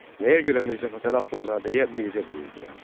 Nəyə görə Mirzə Fətəli Axundzadəyə Mirzə deyirdilər?